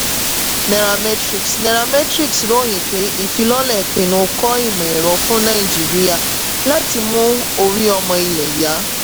nairametrics nairametrics ròyìn pé ìfilọ́lẹ̀ pinnu kọ́ ìmò-ẹ̀rọ fún nàìjíríà láti mú orí ọmọ ilẹ̀ yá.